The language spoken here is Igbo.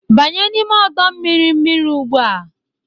Banye n'ime ọdọ mmiri mmiri ugbu a!